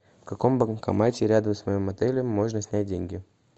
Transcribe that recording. в каком банкомате рядом с моим отелем можно снять деньги